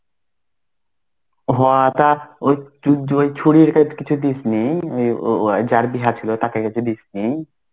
হ তা ওই ছুরির কাছে কিছু দিসনি ওই~ ওয়াও যার বিয়াহ ছিল. তাকে কিছু দিস নি?